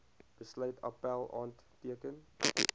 besluit appèl aanteken